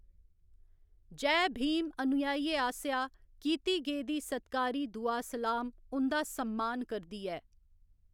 जय भीम अनुयायियें आसेआ कीती गेदी सत्कारी दुआ सलाम उं'दा सम्मान करदी ऐ।